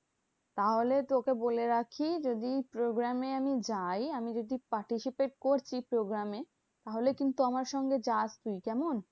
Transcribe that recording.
তাহলে তোকে বলে রাখি, যদি program এ আমি যাই। আমি যদি participate করছি program এ. তাহলে কিন্তু আমার সঙ্গে যাস তুই কেমন?